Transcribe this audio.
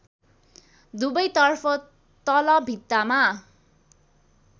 दुवैतर्फ तल भित्तामा